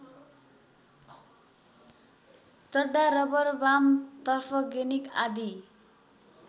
चड्डा rubber वाम तर्फगेनिक आदि